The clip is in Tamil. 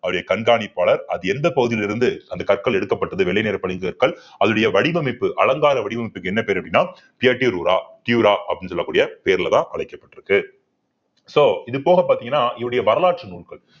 அவருடைய கண்காணிப்பாளர் அது எந்த பகுதியில இருந்து அந்த கற்கள் எடுக்கப்பட்டது வெள்ளை நிற பளிங்கு கற்கள் அதனுடைய வடிவமைப்பு அலங்கார வடிவமைப்புக்கு என்ன பேரு அப்படின்னா அப்படின்னு சொல்லக்கூடிய பேர்லதான் அழைக்கப்பட்டிருக்கு so இது போக பாத்தீங்கன்னா இவருடைய வரலாற்று நூல்கள்